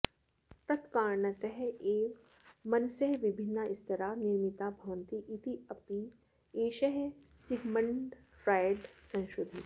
तत्कारणतः एव मनसः विभिन्नाः स्तराः निर्मिताः भवन्ति इत्यपि एषः सिग्मण्ड् फ्राय्ड् संशोधितवान्